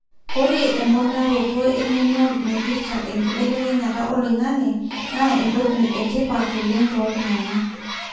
ore emponaroto engeno naipirta enkibelekenyata oloingange na entoki etipat oleng tontungana.